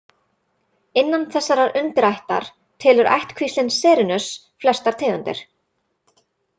Innan þessarar undirættar telur ættkvíslin Serinus flestar tegundir.